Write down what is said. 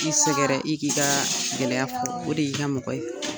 I sɛgɛrɛ i k'i ka gɛlɛya fɔ o de y'i ka mɔgɔ ye.